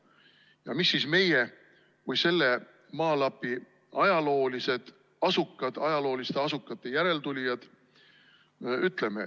Ja mis siis meie kui selle maalapi ajaloolised asukad, ajalooliste asukate järeltulijad, ütleme?